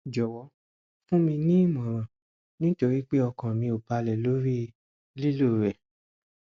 jọwọ fún mi ní ìmọràn nítorí pé ọkàn mi ò balẹ lórí lílò rẹ